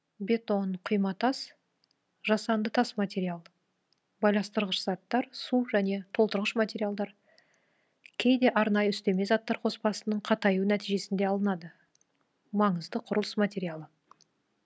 бетон құйматас жасанды тас материал байластырғыш заттар су және толтырғыш материалдар кейде арнайы үстеме заттар қоспасының қатаюы нәтижесінде алынады маңызды құрылыс материалы